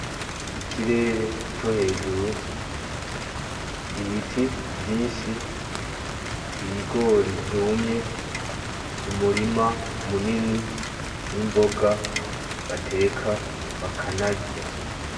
Ikirere co hejuru, ibiti vyinshi, ibigori vyumye , umurima munini n'imboga bateka bakanarya.